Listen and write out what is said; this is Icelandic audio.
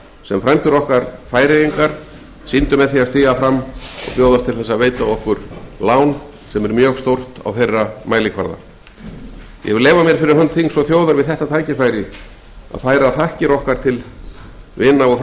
sem frændur okkar færeyingar sýndu með því að stíga fram og bjóðast til að veita okkur lán ég vil leyfa mér fyrir hönd þings og þjóðar að færa þakkir okkar til vina okkar